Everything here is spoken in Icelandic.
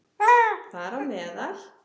Þar á meðal